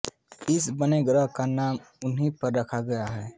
इस बौने ग्रह का नाम उन्ही पर रखा गया है